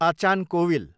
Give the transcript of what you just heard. अचान कोविल